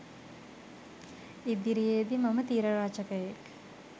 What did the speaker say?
ඉදිරියේදී මම තිර රචකයෙක්